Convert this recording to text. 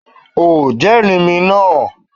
O jẹ́rìí mi nàú.